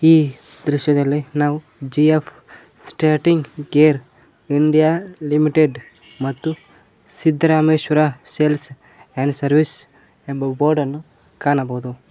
ಈ ದೃಶ್ಯದಲ್ಲಿ ನಾವು G F starting gear India limited ಮತ್ತು ಸಿದ್ದರಾಮೇಶ್ವರ ಸೇಲ್ಸ್ ಅಂಡ್ ಸರ್ವೀಸ್ ಎಂಬ ಬೋರ್ಡನ್ನು ಕಾಣಬಹುದು ಮ--